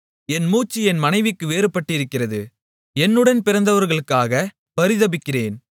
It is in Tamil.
என் மூச்சு என் மனைவிக்கு வேறுபட்டிருக்கிறது என் உடன் பிறந்தவர்களுக்காகப் பரிதபிக்கிறேன்